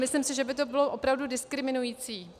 Myslím si, že by to bylo opravdu diskriminující.